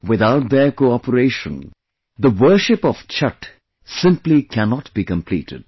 Without their cooperation, the worship of Chhath, simply cannot be completed